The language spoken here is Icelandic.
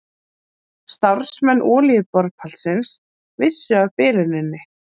Starfsmenn olíuborpallsins vissu af biluninni